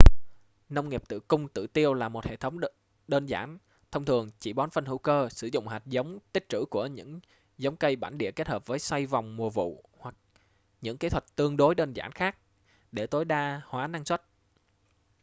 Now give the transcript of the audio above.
nông nghiệp tự cung tự tiêu là một hệ thống đơn giản thông thường chỉ bón phân hữu cơ sử dụng hạt giống tích trữ của những giống cây bản địa hết hợp với xoay vòng vụ mùa hoặc những kỹ thuật tương đối đơn giản khác để tối đa hóa năng suất